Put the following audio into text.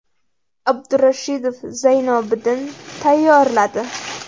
Abdurashidov Zaynobiddin tayyorladi.